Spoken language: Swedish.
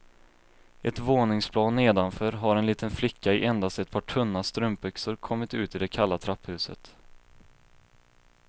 Ett våningsplan nedanför har en liten flicka i endast ett par tunna strumpbyxor kommit ut i det kalla trapphuset.